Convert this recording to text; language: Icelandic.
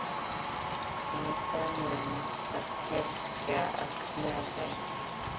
Í það mund var kirkja að Knerri.